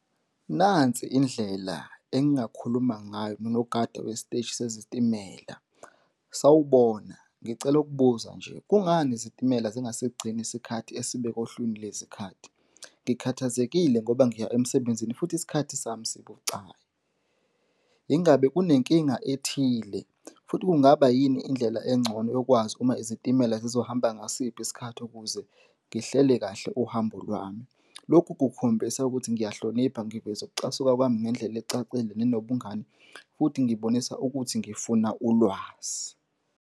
Nansi indlela engingakhuluma ngayo nonogada wesiteshi sesitimela. Sawubona, ngicela ukubuza nje. Kungani izitimela zingasigcini isikhathi esibekwe ohlwini lwezikhathi? Ngikhathazekile ngoba ngiya emsebenzini futhi isikhathi sami sibucayi. Yingabe kunenkinga ethile futhi kungaba yini indlela engcono yokwazi uma izitimela zizohamba ngasiphi isikhathi ukuze ngihlele kahle uhambo lwami. Lokhu kukhombisa ukuthi ngiyahlonipha ngiveza ukucasuka kwami ngendlela ecacile nenobungani futhi ngibonisa ukuthi ngifuna ulwazi.